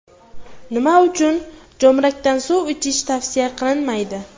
Nima uchun jo‘mrakdan suv ichish tavsiya qilinmaydi?.